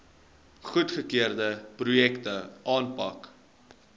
goedgekeurde projekte aanpak